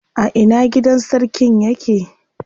A ina gidan sarkin yake?